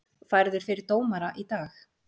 Færður fyrir dómara í dag